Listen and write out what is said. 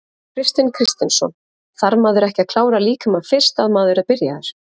Kristinn Kristinsson: Þarf maður ekki að klára líkamann fyrst að maður er byrjaður?